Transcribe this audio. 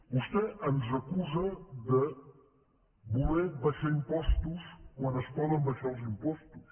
vostè ens acusa de voler abaixar impostos quan es poden abaixar els impostos